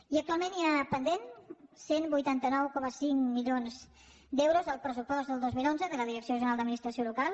i actualment hi ha pendents cent i vuitanta nou coma cinc milions d’euros del pressupost del dos mil onze de la direcció general d’administració local